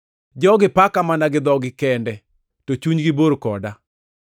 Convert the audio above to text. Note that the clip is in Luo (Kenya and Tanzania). “ ‘Jogi paka mana gi dhogi kende, to chunygi bor koda.